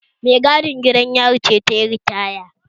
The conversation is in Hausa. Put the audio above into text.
Mai gadin gidan yari ce da tayi ritaya